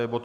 Je to